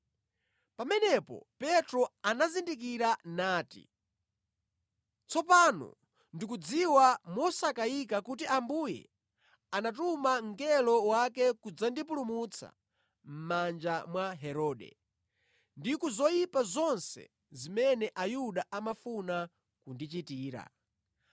Pamenepo Petro anazindikira nati, “Tsopano ndikudziwa mosakayika kuti Ambuye anatuma mngelo wake kudzandipulumutsa mʼmanja mwa Herode, ndi ku zoyipa zonse zimene Ayuda amafuna kundichitira.”